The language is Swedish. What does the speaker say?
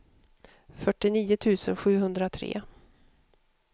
fyrtionio tusen sjuhundratre